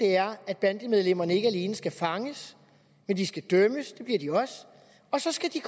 er at bandemedlemmerne ikke alene skal fanges men de skal dømmes det bliver de også og så skal